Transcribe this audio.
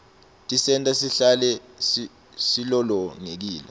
tisenta sihlale silolongekile